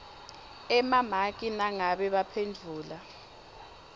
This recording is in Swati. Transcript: emamaki nangabe baphendvule